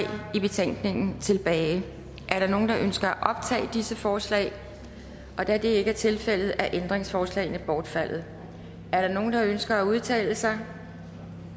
i betænkningen tilbage er der nogen der ønsker at optage disse forslag da det ikke er tilfældet er ændringsforslagene bortfaldet er der nogen der ønsker at udtale sig